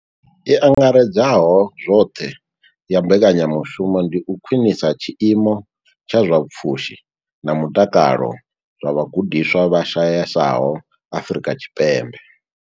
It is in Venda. I angaredzaho zwoṱhe ya mbekanya mushumo ndi u khwinisa tshiimo tsha zwa pfushi na mutakalo zwa vhagudiswa vha shayesaho Afrika Tshipembe.